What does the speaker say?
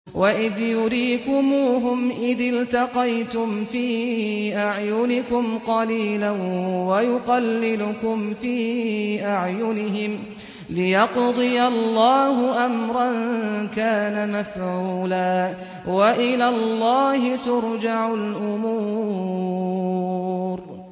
وَإِذْ يُرِيكُمُوهُمْ إِذِ الْتَقَيْتُمْ فِي أَعْيُنِكُمْ قَلِيلًا وَيُقَلِّلُكُمْ فِي أَعْيُنِهِمْ لِيَقْضِيَ اللَّهُ أَمْرًا كَانَ مَفْعُولًا ۗ وَإِلَى اللَّهِ تُرْجَعُ الْأُمُورُ